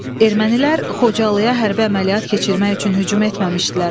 Ermənilər Xocalıya hərbi əməliyyat keçirmək üçün hücum etməmişdilər.